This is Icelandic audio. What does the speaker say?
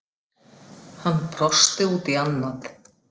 Hann brosti út í annað.